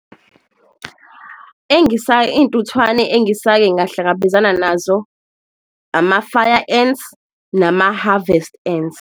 Iy'ntuthwane engisake ngahlangabezana nazo ama-fire ants nama-harvest ants.